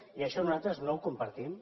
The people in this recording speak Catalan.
i això nosaltres no ho compartim